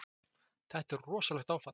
Þetta er rosalegt áfall!